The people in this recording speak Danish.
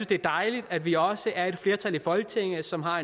det er dejligt at vi også er et flertal i folketinget som har